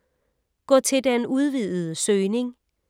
Gå til den udvidede søgning